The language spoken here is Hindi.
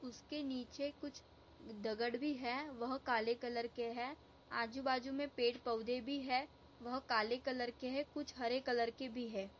उसके नीचे कुछ दगड़ भी है वह काले कलर के है आजूबाजुमे पेड़ पौधे भी है वह काले कलर के है कुछ हरे कलर के भी है।